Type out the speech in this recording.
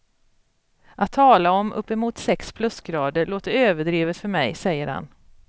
Att tala om upp emot sex plusgrader låter överdrivet för mig, säger han.